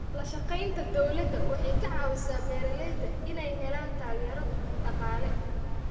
La shaqaynta dawladda waxay ka caawisaa beeralayda inay helaan taageero dhaqaale.